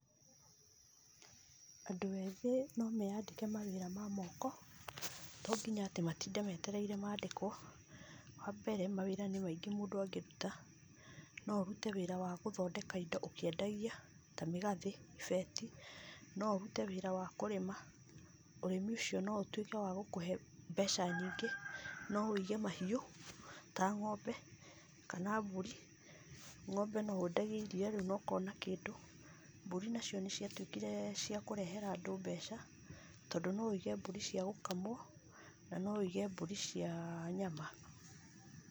Andũ ethĩ no meyandĩke mawĩra ma moko, to nginya atĩ matinde metereire mandĩkwo, wambere mawĩra nĩ maingĩ mũndũ angĩruta, no ũrute wĩra wa gũthondeka indo ũkiendagia, ta mĩgathĩ, ibeti , no ũrute wĩra wa kũrĩma, ũrĩmi ũcio no ũtuĩke wa gũkũhe mbeca nyingĩ, no ũige mahiũ ta ng'ombe, kana mbũri, ng'ombe no wendagie iria rĩu na ũkona kĩndũ, mbũri nacio nĩ ciatuĩkire ciakũrehera andũ mbeca, tondũ no ũige mbũri cia gũkamwo na no ũige mbũri cia nyama.